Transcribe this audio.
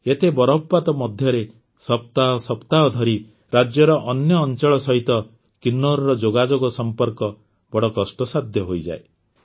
ଏତେ ବରଫପାତ ମଧ୍ୟରେ ସପ୍ତାହ ସପ୍ତାହ ଧରି ରାଜ୍ୟର ଅନ୍ୟ ଅଂଚଳ ସହିତ କିନ୍ନୌରର ଯୋଗାଯୋଗ ସଂପର୍କ ବଡ଼ କଷ୍ଟସାଧ୍ୟ ହୋଇଯାଏ